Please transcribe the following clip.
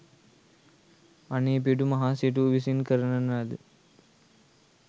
අනේපිඬු මහා සිටුහු විසින් කරවන ලද